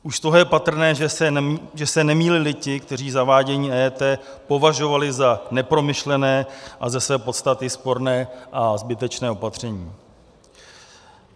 Už z toho je patrné, že se nemýlili ti, kteří zavádění EET považovali za nepromyšlené a ze své podstaty sporné a zbytečné opatření.